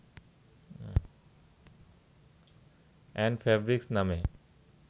and fabrics নামে